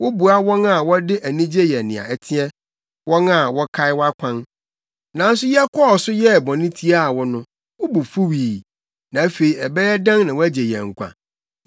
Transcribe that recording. Woboa wɔn a wɔde anigye yɛ nea ɛteɛ, wɔn a wɔkae wʼakwan. Nanso yɛkɔɔ so yɛɛ bɔne tiaa wɔn no, wo bo fuwii. Na afei ɛbɛyɛ dɛn na woagye yɛn nkwa?